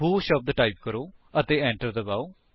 ਵ੍ਹੋ ਸ਼ਬਦ ਟਾਈਪ ਕਰੋ ਅਤੇ enter ਦਬਾਓ